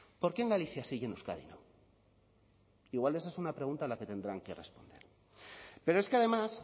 por qué en galicia sí y en euskadi no igual esa es una pregunta a la que tendrán que responder pero es que además